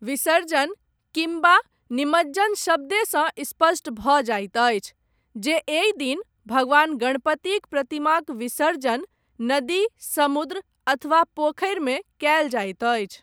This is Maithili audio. विसर्जन' किम्बा 'निमज्जन' शब्देसँ, स्पष्ट भऽ जाइत अछि, जे एहि दिन, भगवान गणपतिक प्रतिमाक विसर्जन नदी, समुद्र अथवा पोखरिमे कयल जाइत अछि।